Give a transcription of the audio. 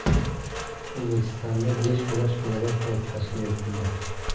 O‘zbekistonda beshkurash federatsiyasi tashkil etildi.